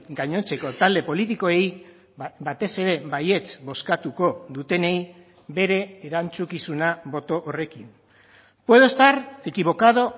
gainontzeko talde politikoei batez ere baietz bozkatuko dutenei bere erantzukizuna boto horrekin puedo estar equivocado